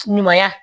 Ɲumanya